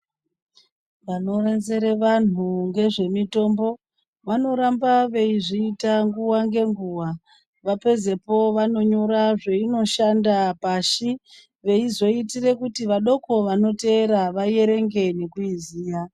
Vanodetsere vantu nezvemitombo vanoramba veizviita nguwa ngenguwa vapedzepo vanonyora zvainoshanda pashi vanozoita kuti vadoko vanotevera vaverenge nekuiziva.